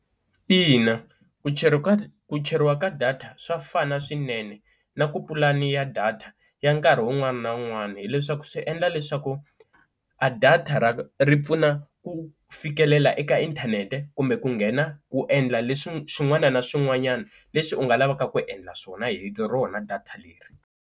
Ina ku cheriwa ka ku cheriwa ka data swa fana swinene na ku pulani ya data ya nkarhi wun'wana na wun'wana hileswaku swi endla leswaku a data ra ri pfuna ku fikelela eka inthanete kumbe ku nghena ku endla leswi swin'wana na swin'wanyana leswi u nga lavaka ku endla swona hi rona data leri.